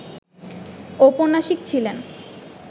ঔপন্যাসিক ছিলেন